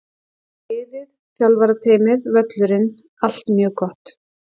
Liðið, þjálfarateymið, völlurinn- allt mjög gott!